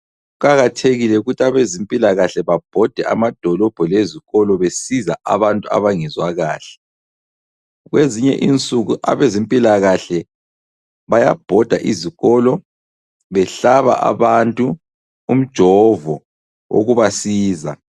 Kuqakathekile ukuthi abezempilakahle babhode amadolobho lezikolo besiza abantu abangezwa kahle. Kwezinye insuku abezempilakahle bayabhoda izikolo behlaba abantu umjovo okubasiza.